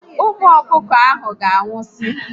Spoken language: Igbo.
Ụmụ ọkụkọ ahụ ga anwụsi